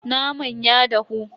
Naman ya dahu.